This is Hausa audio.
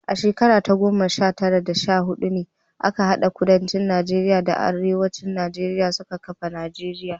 A shekara ta goma sha tara da sha hudu ne aka hade Kudancin Najeriya da Arewacin Najeriya suka kafa Najeriya.